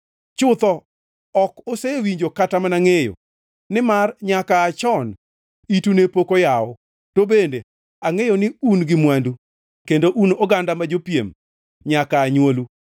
Chutho ok osewinjo kata mana ngʼeyo, nimar nyaka aa chon itu ne pok oyaw. To bende angʼeyo ni un gi mwandu kendo un oganda ma jopiem nyaka aa nywolu.